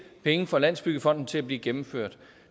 penge fra landsbyggefonden til at blive gennemført